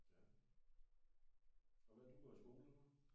Ja og hvad du går i skole eller hvad?